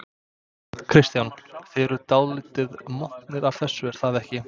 Kristján: Þið eruð dálítið montnir af þessu er það ekki?